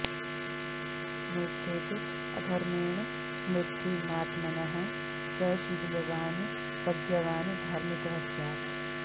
नेच्छेद् अधर्मेण समृद्धिमात्मनः स शीलवान् प्रज्ञावान् धार्मिकः स्यात्